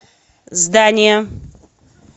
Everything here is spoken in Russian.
здание